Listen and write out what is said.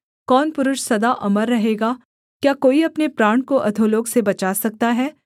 कौन पुरुष सदा अमर रहेगा क्या कोई अपने प्राण को अधोलोक से बचा सकता है सेला